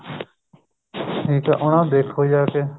ਠੀਕ ਏ ਉਹਨਾ ਨੂੰ ਦੇਖੋ ਜਾ ਕੇ